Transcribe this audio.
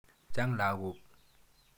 Chang' lagok.